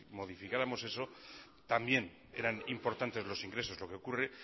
modificáramos eso también eran importantes los ingresos lo que ocurre